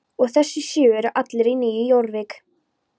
Og þessir sjö eru allir í Nýju Jórvík?